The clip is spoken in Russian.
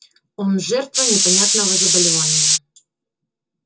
он жертва непонятного заболевания